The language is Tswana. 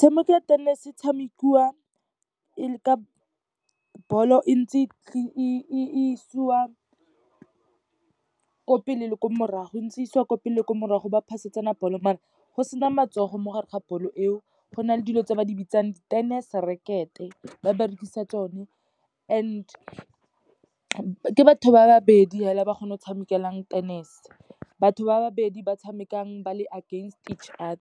Motshameko wa tennis e tshamekiwa ka ball-o entse e isiwa ko pele le ko morago, entse isiwa ko pele le ko morago, ba ntse ba pass-etsana ball-o, mare go sena matsogo mo gare ga ball-o eo. Go na le dilo tse ba di bitsang di-tennis racket-e, ba berekisa tsone, and ke batho ba babedi fela, ba kgona go tshamekelang tennis. Batho ba babedi ba tshamekang ba le against each other.